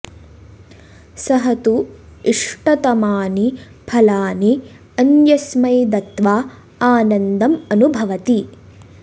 सः तु इष्टतमानि फलानि अन्यस्मै दत्त्वा आनन्दम् अनुभवति